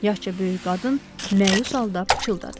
yaşca böyük qadın məyus halda pıçıldadı.